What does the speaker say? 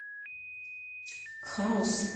хаус